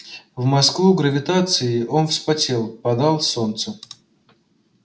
в москву гравитацией он вспотел падал в солнце